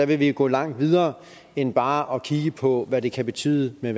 vi vil gå langt videre end bare at kigge på hvad det kan betyde med